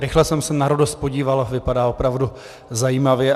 Rychle jsem se na RODOS podíval, vypadá opravdu zajímavě.